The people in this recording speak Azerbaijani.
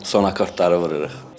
Son akkaardları vururuq.